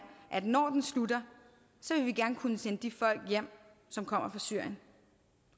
at når den slutter vil vi gerne kunne sende de folk hjem som kommer fra syrien